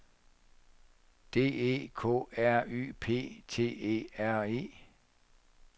D E K R Y P T E R E